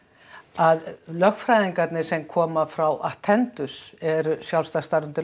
að lögfræðingarnir sem koma frá eru sjálfstætt starfandi